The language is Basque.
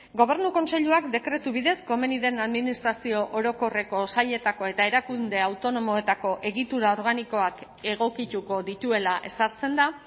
gobernu kontseiluak dekretu bidez komeni den administrazio orokorreko sailetako eta erakunde autonomoetako egitura organikoak egokituko dituela ezartzen da